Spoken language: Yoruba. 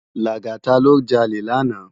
Lagata lò jàlé làná